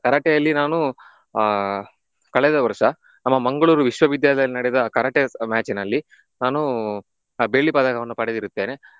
Karate ಅಲ್ಲಿ ನಾನು ಆಹ್ ಕಳೆದ ವರ್ಷ ನಮ್ಮ ಮಂಗಳೂರು ವಿಶ್ವವಿದ್ಯಾಲಯದಲ್ಲಿ ನಡೆದ Karate match ನಲ್ಲಿ ನಾನು ಬೆಳ್ಳಿ ಪದಕವನ್ನು ಪಡೆದಿರುತ್ತೇನೆ.